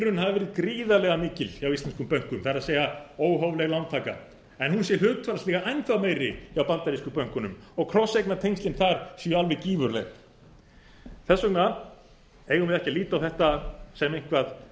hafi verið gríðarlega mikil hjá íslenskum bönkum það er óhófleg lántaka en hún sé hlutfallslega enn þá meiri hjá bandarísku bönkunum og krosseignatengslin þar séu alveg gífurleg þess vegna eigum við ekki að líta á þetta sem